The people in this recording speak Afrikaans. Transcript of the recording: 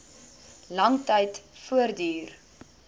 lang tyd voortduur